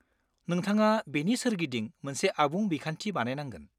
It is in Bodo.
नोंथाङा बेनि सोरगिदिं मोनसे आबुं बिखान्थि बानायनांगोन।